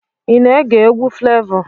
Ị na-ege egwu Flevọ?